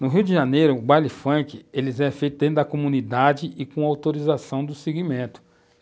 No Rio de Janeiro, o baile funk é feito dentro da comunidade e com autorização do segmento.